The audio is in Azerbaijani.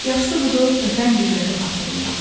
Yaxşısı budur, ötən günləri xatırlayaq.